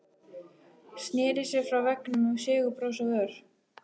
Sneri sér frá veggnum með sigurbros á vör.